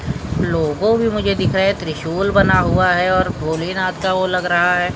लोगो भी मुझे दिख रहा है तिरशूल बना हुआ है और भोलेनाथ का वो लग रहा है ।